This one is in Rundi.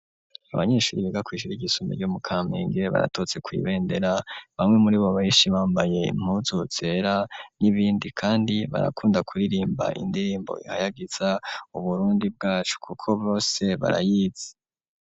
Abanyeshure bigakwishire igisumbe ryo mu kampinge baratonze kw'ibendera bamwe muribo benshi bambaye impuzu zera n'ibindi kandi barakunda kuririmba indirimbo ihayagiza uburundi bwacu kuko bose barayizi.